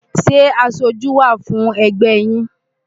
Ṣé aṣojú wà fún ẹgbẹ́ yín?